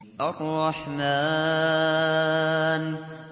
الرَّحْمَٰنُ